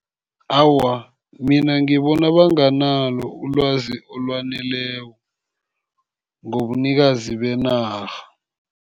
Awa, mina ngibona banganalo ulwazi olwaneleko ngobunikazi benarha.